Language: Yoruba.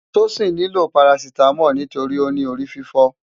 Tosin ni ló párásitámòl nitóri óni órififò